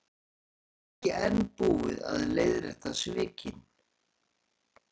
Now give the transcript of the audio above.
Ekki enn búið að leiðrétta svikin